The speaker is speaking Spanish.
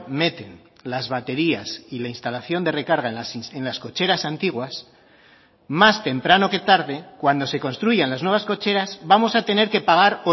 meten las baterías y la instalación de recarga en las cocheras antiguas más temprano que tarde cuando se construyan las nuevas cocheras vamos a tener que pagar